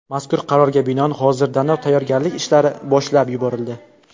Mazkur qarorga binoan hozirdanoq tayyorgarlik ishlari boshlab yuborildi.